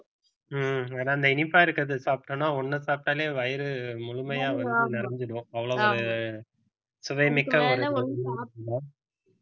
ஹம் ஆனா இந்த இனிப்பா இருக்கிறத சாப்பிட்டோம்னா ஒண்ணு சாப்பிட்டாலே வயிறு முழுமையா வந்து நிறைஞ்சிடும் அவ்ளோவொரு சுவைமிக்க ஒரு